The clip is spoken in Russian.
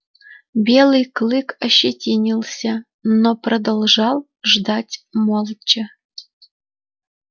белый клык ощетинился но продолжал ждать молча